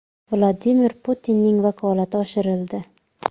Vladimir Putinning vakolati oshirildi.